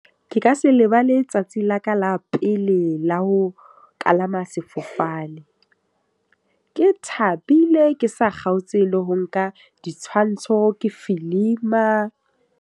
Ke ka se lebale tsatsi la ka la pele la ho kalama sefofane. Ke thabile, ke sa kgaotse le ho nka ditshwantsho. Ke filima.